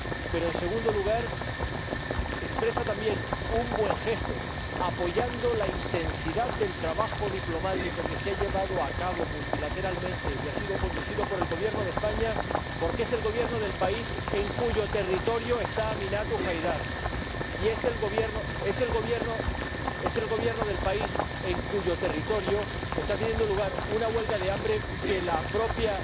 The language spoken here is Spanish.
Pero, en segundo lugar, expresa también un buen gesto apoyando la intensidad del trabajo diplomático que se ha llevado a cabo multilateralmente y que ha sido conducido por el Gobierno de España, que es el Gobierno del país en cuyo territorio está Aminatu Haidar y es el Gobierno del país en cuyo territorio está teniendo lugar una huelga de hambre que la propia